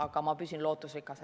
Aga ma püsin lootusrikas.